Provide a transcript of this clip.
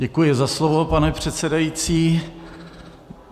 Děkuji za slovo, pane předsedající.